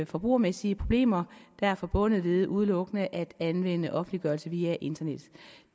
forbrugermæssige problemer der er forbundet ved udelukkende at anvende offentliggørelse via internettet